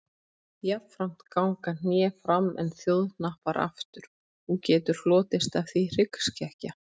Jafnframt ganga hné fram en þjóhnappar aftur og getur hlotist af því hryggskekkja.